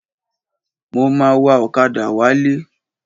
Mo ma wa ọ̀kadà wálé.